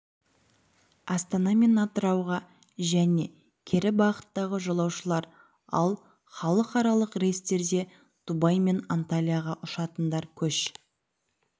астана мен атырауға және кері бағыттағы жолаушылар ал халықаралық рейстерде дубай мен анталияға ұшатындар көш